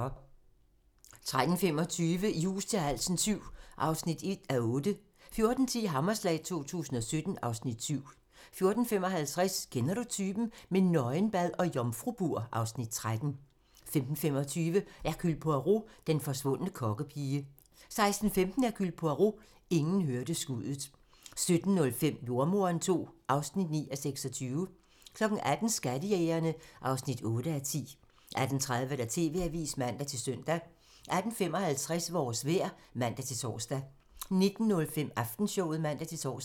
13:25: I hus til halsen VII (1:8) 14:10: Hammerslag 2017 (Afs. 7) 14:55: Kender du typen? - med nøgenbad og jomfrubur (Afs. 13) 15:25: Hercule Poirot: Den forsvundne kokkepige 16:15: Hercule Poirot: Ingen hørte skuddet 17:05: Jordemoderen II (9:26) 18:00: Skattejægerne (8:10) 18:30: TV-avisen (man-søn) 18:55: Vores vejr (man-tor) 19:05: Aftenshowet (man-tor)